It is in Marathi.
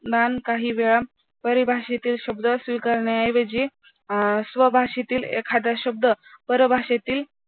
परिभाषेत शब्द स्वीकारण्याऐवजी स्वभाषेतील एखादा शब्द परभाषेतील